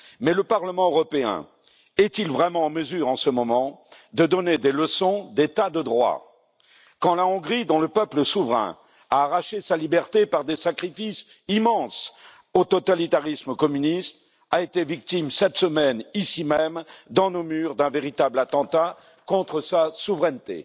Mais le Parlement européen est il vraiment en mesure, en ce moment, de donner des leçons d'état de droit, quand la Hongrie, dont le peuple souverain a arraché sa liberté par des sacrifices immenses au totalitarisme communiste, a été victime, cette semaine, ici même dans nos murs, d'un véritable attentat contre sa souveraineté?